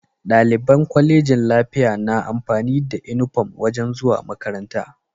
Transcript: Daliban colejin lafiya na amfani da inufom wajan zuwa makaranta